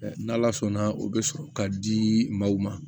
N' ala sɔnna o bɛ sɔrɔ ka di maaw ma